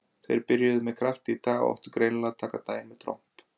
Þeir byrjuðu með krafti í dag og átti greinilega að taka daginn með tromp.